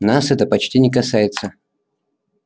нас это почти не касается